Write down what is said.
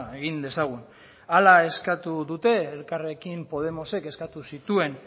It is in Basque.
egin dezagun hala eskatu dute elkarrekin podemosek eskatu zituen